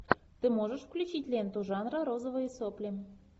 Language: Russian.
ты можешь включить ленту жанра розовые сопли